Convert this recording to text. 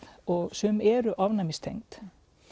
og sum eru ofnæmistengd